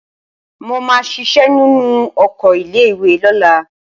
Mo máa ṣiṣẹ́ nínú oko ilé-ìwé lọ́la.